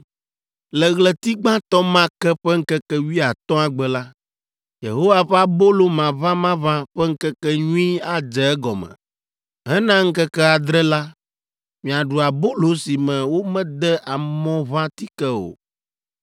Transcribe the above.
“ ‘Le ɣleti gbãtɔ ma ke ƒe ŋkeke wuiatɔ̃a gbe la, Yehowa ƒe Abolo Maʋamaʋã ƒe Ŋkekenyui adze egɔme. Hena ŋkeke adre la, miaɖu abolo si me womede amɔʋãtike o.